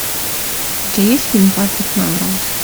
у тебя есть фильм патрик мелроуз